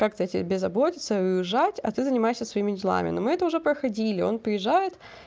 как-то тебе заботиться и уезжать а ты занимайся своими делами но мы это уже проходили он приезжает